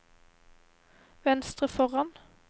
venstre foran